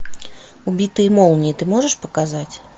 убитые молнией ты можешь показать